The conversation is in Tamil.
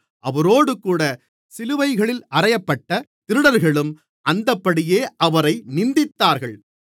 அவரோடுகூட சிலுவைகளில் அறையப்பட்டத் திருடர்களும் அந்தப்படியே அவரை நிந்தித்தார்கள்